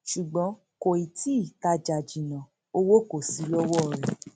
ṣùgbọn kò tí ì tajà jìnnà owó kò sí lọwọ rẹ